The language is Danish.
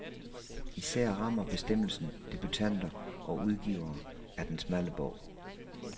Især rammer bestemmelsen debutanter og udgivere af den smalle bog.